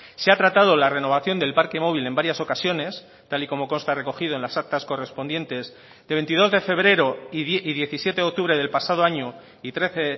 se ha tratado la renovación del parque móvil en varias ocasiones tal y como consta recogido en las actas correspondientes de veintidós de febrero y diecisiete de octubre del pasado año y trece